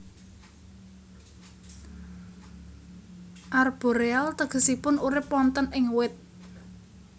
Arboreal tegesipun urip wonten ing wit